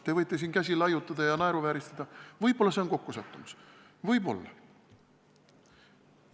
Te võite siin käsi laiutada ja naeruvääristada – võib-olla see oli kokkusattumus, võib-olla.